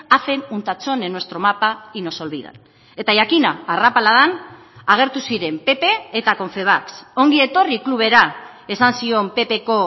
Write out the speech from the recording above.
hacen un tachón en nuestro mapa y nos olvidan eta jakina arrapaladan agertu ziren pp eta confebask ongi etorri klubera esan zion ppko